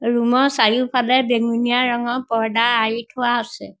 Room ৰ চাৰিওফালে বেঙুনীয়া ৰঙৰ পৰ্দা আঁৰি থোৱা আছে।